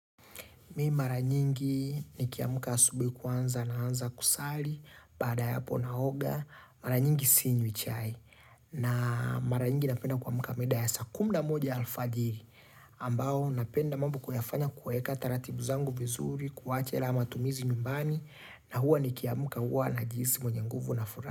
Mimi mara nyingi nikiamka asubuhi kwanza na anza kusali baada ya hapo naoga, mara nyingi sinywi chai na mara nyingi napenda kuamka mida ya saa kumi na moja alfajiri ambao napenda mambo kuyafanya kueka taratibu zangu vizuri, kuwache la matumizi nyumbani na huwa nikiamka huwa najihisi mwenye nguvu na furaha.